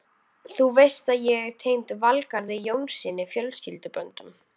Þú veist að ég er tengd Valgarði Jónssyni fjölskylduböndum.